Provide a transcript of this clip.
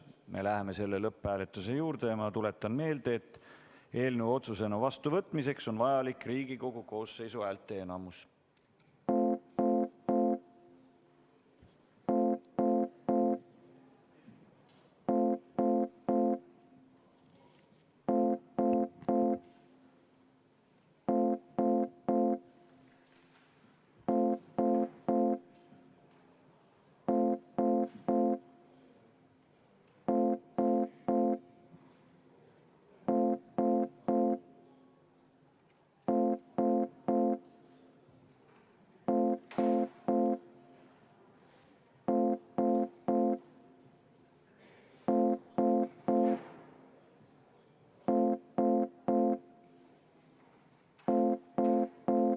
Me läheme lõpphääletuse juurde ja ma tuletan meelde, et eelnõu otsusena vastuvõtmiseks on vaja Riigikogu koosseisu häälteenamust.